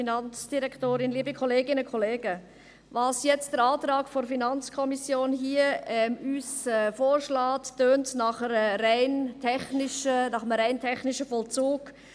Was der Antrag der FiKo uns hier vorschlägt, tönt nach einem rein technischen Vollzug.